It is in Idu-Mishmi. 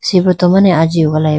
sibruto mane aji welayi bo.